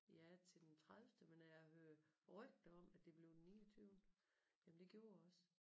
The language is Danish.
Ja til den tredivte men jeg hører rygter om at det blev den niogtyvende. Jamen det gjorde det også